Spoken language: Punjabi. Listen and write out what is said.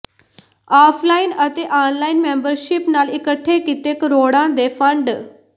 ਆਫਲਾਈਨ ਅਤੇ ਆਨਲਾਈਨ ਮੈਂਬਰਸ਼ਿਪ ਨਾਲ ਇਕੱਠੇ ਕੀਤੇ ਕਰੋੜਾਂ ਦੇ ਫੰਡ